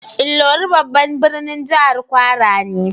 Ilorin babban birnin jihar kwara ne.